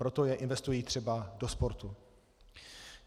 Proto je investují třeba do sportu.